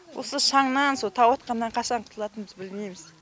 осы шаңнан со тау атқаннан қашан құтылатынымызды білмейміз